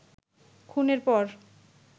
খুনের পর